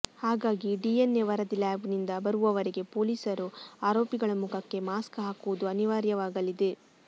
ಹಾಗಾಗಿ ಡಿಎನ್ಎ ವರದಿ ಲ್ಯಾಬ್ ನಿಂದ ಬರುವವರೆಗೆ ಪೊಲೀಸರು ಆರೋಪಿಗಳ ಮುಖಕ್ಕೆ ಮಾಸ್ಕ್ ಹಾಕುವುದು ಅನಿವಾರ್ಯವಾಗಲಿದೆ